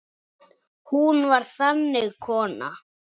Hún var þannig kona.